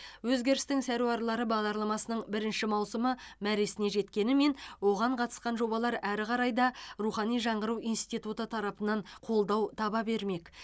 өзгерістің саруарлары бағдарламасының бірінші маусымы мәресіне жеткенімен оған қатысқан жобалар әрі қарай да рухани жаңғыру институты тарапынан қолдау таба бермек